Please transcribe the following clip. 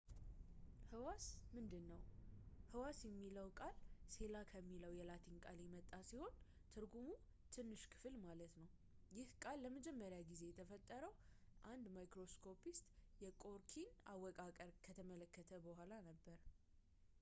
ህዋስ ምንድን ነው ህዋስ የሚለው ቃል ሴላ ከሚለው የላቲን ቃል የመጣ ሲሆን ትርጉሙም ትንሽ ክፍል ማለት ሲሆን ይህንን ቃል ለመጀመሪያ ጊዜ የፈጠረው አንድ microscopist የቆርኪን አወቃቀር ከተመለከተ በኋላ ነበር